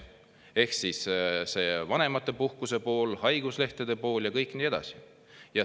Ehk siis vanemapuhkused, haiguslehed ja kõik nii edasi.